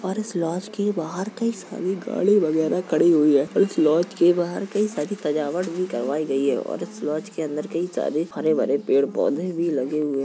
और इस लॉज के बाहर कई सारी गाड़ी वगैरा खड़ी हुई है और इस लॉज के बाहर कई सारी सजावट भी करवाई गयी है और इस लॉज के अंदर कई सारे हरे-भरे पेड़-पौधे भी लगे हुए --